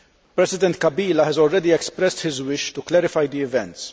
President Kabila has already expressed his wish to clarify the events